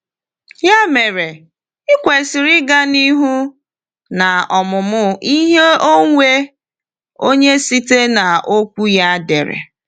Ya mere, ị kwesịrị ịga n’ihu n’omụmụ ihe onwe onye site n’Okwu ya edere.